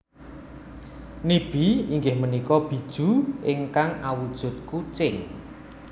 Nibi inggih punika Bijuu ingkang awujud kucing